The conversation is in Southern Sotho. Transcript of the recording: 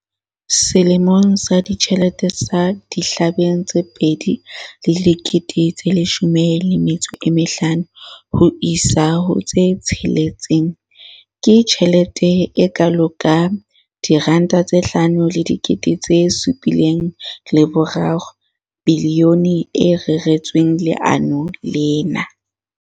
Selemong sa ditjhelete sa 2015-16, ke tjhelete e kalo ka R5 703 bilione e reretsweng lenaneo lena.